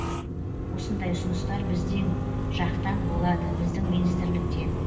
осындай ұсыныстар біздің жақтан болады біздің министрліктен